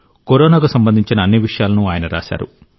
కరోనాకు సంబంధించిన అన్ని విషయాలను ఆయన రాశారు